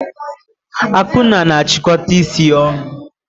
Akunna na achịkọta isi ya ọnụ.